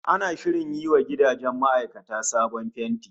Ana shirin yi wa gidajen ma'aikata sabon fenti